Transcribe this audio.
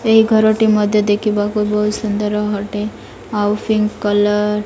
ଏହି ଘରଟି ମଧ୍ୟ ଦେଖିବାକୁ ବୋହୁତ ସୁନ୍ଦର ହଟେ । ଆଉ ପିଙ୍କ୍ କଲର --